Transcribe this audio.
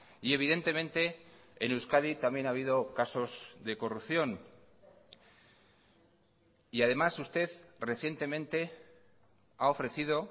y evidentemente en euskadi también ha habido casos de corrupción y además usted recientemente ha ofrecido